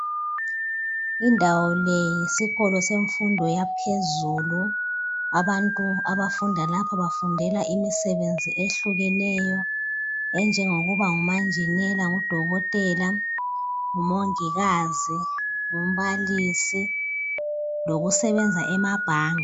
Indawo le yisikolo semfundo yaphezulu. Abantu abafunda lapha bafundela imisebenzi ehlukeneyo enjengokuba ngumanjinela, ngudokotela, ngumongikazi, ngumbalisi lokusebenza emabhanga.